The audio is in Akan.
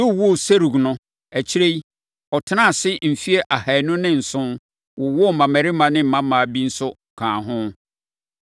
Reu woo Serug no, akyire yi, ɔtenaa ase mfeɛ ahanu ne nson, wowoo mmammarima ne mmammaa bi nso kaa ho.